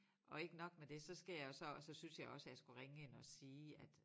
Og ikke nok med det så skal jeg jo så og så syntes jeg også jeg skulle ringe ind og sige at